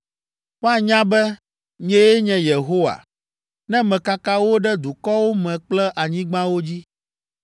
“Woanya be, nyee nye Yehowa, ne mekaka wo ɖe dukɔwo me kple anyigbawo dzi.